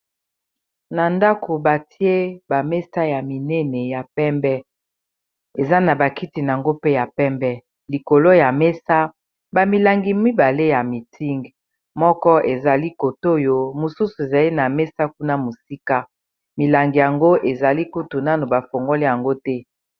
Na ndako batie ba mesa ya minene ya pembe eza na bakiti nango mpe ya pembe likolo ya mesa ba milangi mibale ya Miting moko ezali kotoyo mosusu ezali na mesa kuna mosika milangi yango ezali kutu nano bafongoli yango te.